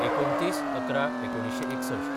२९/११/१९६१